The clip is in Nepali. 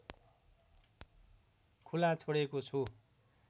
खुला छोडेको छु